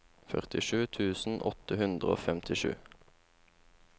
førtisju tusen åtte hundre og femtisju